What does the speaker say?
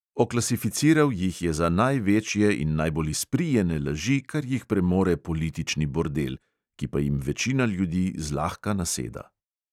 Oklasificiral jih je za največje in najbolj izprijene laži, kar jih premore politični bordel – ki pa jim večina ljudi zlahka naseda.